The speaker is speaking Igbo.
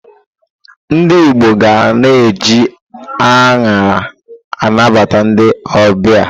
Ndi Igbo ga na-eji añara anabata ndi ọbịa.